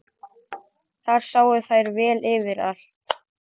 Þar sáu þær vel yfir allt.